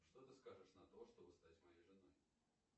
что ты скажешь на то чтобы стать моей женой